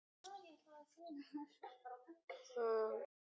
Við berum auðvitað bæði ábyrgð á þessu.